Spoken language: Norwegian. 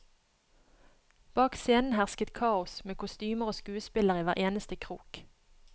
Bak scenen hersket kaos, med kostymer og skuespillere i hver eneste krok.